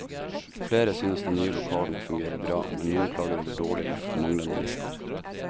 Flere synes de nye lokalene fungerer bra, men noen klager over dårlig luft og manglende lister.